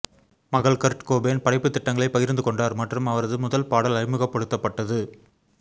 மகள் Kurt Cobain படைப்புத் திட்டங்களை பகிர்ந்து கொண்டார் மற்றும் அவரது முதல் பாடல் அறிமுகப்படுத்தப்பட்டது